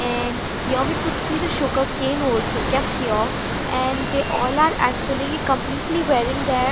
and here we could see the sugarcane also kept here and they all are actually completely wearing their--